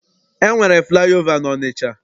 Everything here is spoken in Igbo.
E nwere flaị ova n'Ọnịcha.